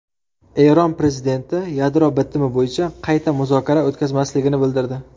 Eron prezidenti yadro bitimi bo‘yicha qayta muzokara o‘tkazmasligini bildirdi.